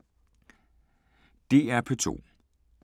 DR P2